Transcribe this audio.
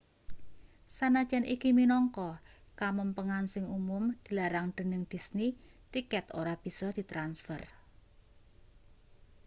sanajan iki minangka kamempengan sing umum dilarang dening disney tiket ora bisa ditransfer